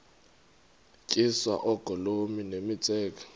tyiswa oogolomi nemitseke